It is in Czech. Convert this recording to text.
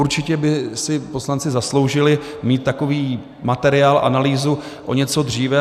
Určitě by si poslanci zasloužili mít takový materiál, analýzu o něco dříve.